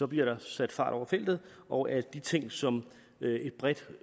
bliver der sat fart over feltet og at de ting som et bredt